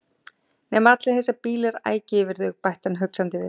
Nema allir þessir bílar ækju yfir þau bætti hann hugsandi við.